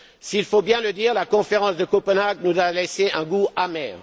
Il faut bien le dire, la conférence de Copenhague nous a laissé un goût amer.